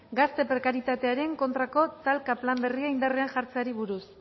gazte prekarietatearen kontrako talka plan berria indarrean jartzeari buruz